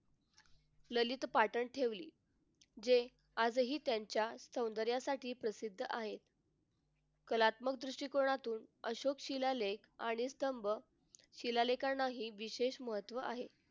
ललित पाठन ठेवली जे आजही त्यांच्या सौंदर्यासाठी प्रसिद्ध आहे कलात्मक दृष्टिकोनातून अशोक शिलालेख आणि स्तंभ व शिलालेखांनाही विशेष महत्त्व आहे.